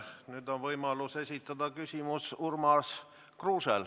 Nüüd on võimalus küsimus esitada Urmas Kruusel.